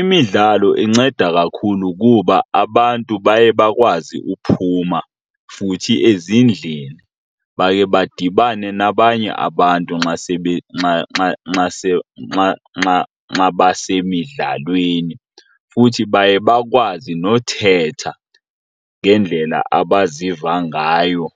Imidlalo inceda kakhulu kuba abantu baye bakwazi uphuma futhi ezindlini bakhe badibane nabanye abantu nxa basemidlalweni. Futhi baye bakwazi nothetha ngendlela abaziva ngayo